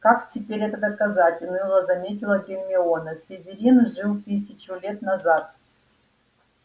как теперь это доказать уныло заметила гермиона слизерин жил тысячу лет назад